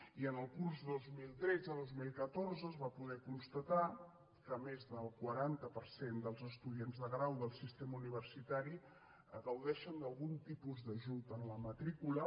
i en el curs dos mil tretzedos mil catorze es va poder constatar que més del quaranta per cent dels estudiants de grau del sistema universitari gaudeixen d’algun tipus d’ajut en la matrícula